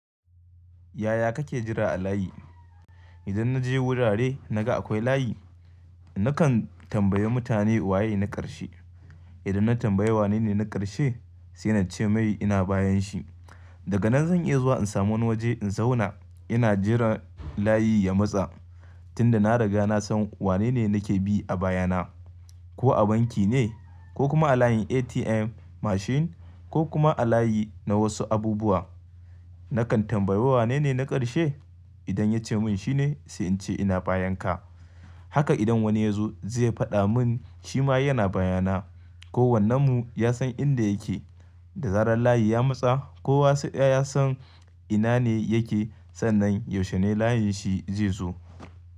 Yaya kake jira a layi? Idan na je wurare na ga akwai layi, nakan tambayi mutane waye na ƙarshe. Idan na tambayi wanene na ƙarshe, sai na ce mai ina bayan shi. Daga nan zan iya zuwa in samu wani waje in zauna ina jiran layi ya matsa tunda na riga na san wanene nake bi a baya na. Ko a banki ne ko kuma a layin ATM machine ko kuma a layi na wasu abubuwa. Nakan tambayo wanene na ƙarshe. Idan ya ce mun shine sai in ce ina bayan ka. Haka idan wani ya zo zai faɗa mun shi ma yana baya na. Ko wannan mu ya san inda yake. Da zarar layi ya matsa kowa ya san ina ne yake sannan yaushe ne layin shi zai zo.